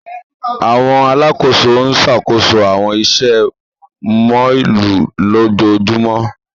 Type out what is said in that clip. Awọn alakoso n ṣakoso awọn iṣẹ mọllu lojoojumọ.